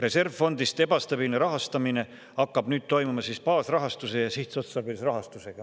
Reservfondist ebastabiilse rahastamise hakkab nüüd toimuma baasrahastus ja sihtotstarbeline rahastus.